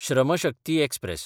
Shram Shakti express